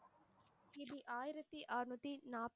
கி. பி ஆயிரத்தி ஆறுநூற்றி நாற்